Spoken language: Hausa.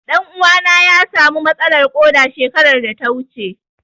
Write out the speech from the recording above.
Ɗan uwana ya samu matsalar ƙoda shekarar da ta wuce.